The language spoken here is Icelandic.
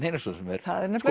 Einarsson sem er